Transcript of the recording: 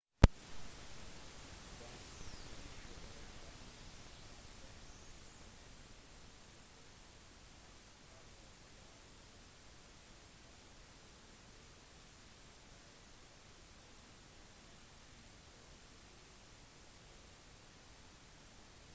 den 30 år gamle ektemannen som ble født i buffalo var en av de fire som ble drept i skyteepisoden men hans kone ble ikke skadet